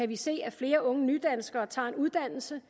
vi se at flere unge nydanskere tager en uddannelse